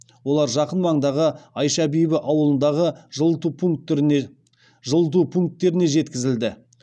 олар жақын маңдағы айша бибі ауылындағы жылыту пунктеріне жеткізілді